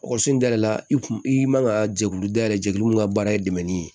Ekɔliso in dayɛlɛla i kun i man ka jɛkulu dayɛlɛ jɛkulu min ka baara ye dɛmɛni ye